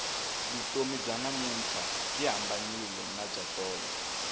vutomi bya namuntlha byi hambanile ni bya tolo